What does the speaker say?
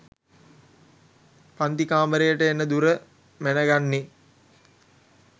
පංතිකාමරේට එන දුර මැනගන්නේ.